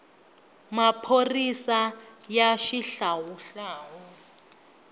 maphorisaya xihlawuhlawu